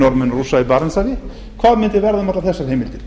og rússa í barentshafi hvað mundi verða um allar þessa heimildir